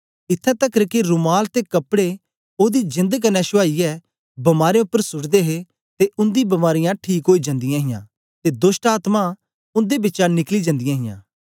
इत्थैं तकर के रुमाल ते कपड़े ओदी जेंद क्न्ने छुआईयै बमारें उपर सूटदे हे ते उन्दी बमारियां ठीक ओई जंदियां हां ते दोष्टआत्मायें उन्दे बिचा निकली जंदियां हां